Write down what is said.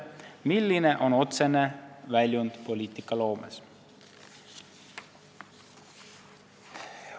Milline on otsene väljund poliitikaloomes?